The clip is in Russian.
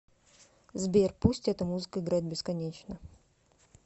сбер пусть эта музыка играет бесконечно